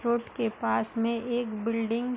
road के पास में एक बिल्डिंग --